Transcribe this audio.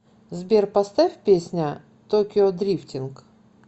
сбер поставь песня токио дрифтинг